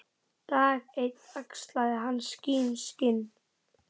Dag einn axlaði hann sín skinn.